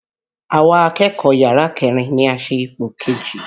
Àwa akẹ́kọ̀ọ́ yàrá kẹ́rin ni a ṣe ipò kejì.